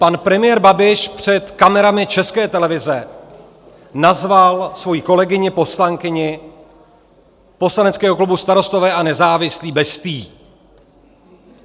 Pan premiér Babiš před kamerami České televize nazval svoji kolegyni, poslankyni poslaneckého klubu Starostové a nezávislí bestií.